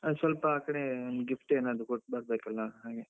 ಹಾ ಸ್ವಲ್ಪ ಆಕಡೆ gift ಏನಾದ್ರೂ ಕೊಟ್ಟು ಬರ್ಬೇಕಲ್ಲ ಹಾಗೆ.